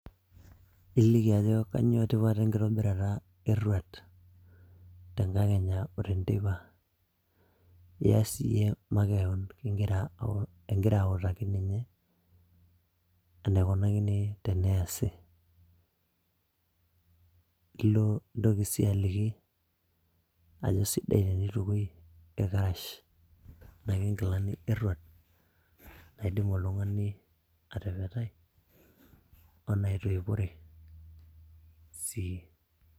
Iliki ajo kanyo tipat enkitobirata eruar tenkakenya o tenteipa, ias iye makeon ing'i ing'ira autaki ninye enekunakini teneasi. Ilo nintoki sii aliki ajo sidai tenitukoi irkarash ashu nkilani eruar naidim oltung'ani atepetai onaitoipore sii.